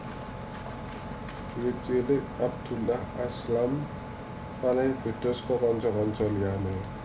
Wiwit cilik Abdullah Azzam paling beda saka kanca kanca liyane